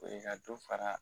O ye ka dɔ fara